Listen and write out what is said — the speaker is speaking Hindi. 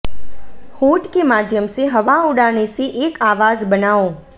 होंठ के माध्यम से हवा उड़ाने से एक आवाज बनाओ